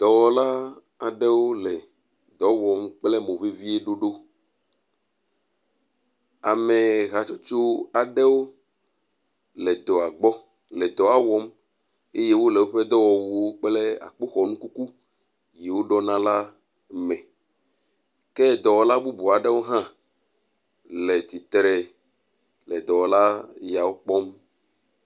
Dɔwɔla aɖewo le dɔ wɔm kple mo vevie ɖoɖo. Ame hatsotso aɖewo le dɔa gbɔ le dɔa wɔm eye wole woƒe dɔwɔwuwo kple akpoxɔnu kuku yiwo ɖɔna la me. Dɔwɔla bubu aɖewo hã le tsitre le dɔwɔla yeawo kpɔm